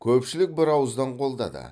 көпшілік бір ауыздан қолдады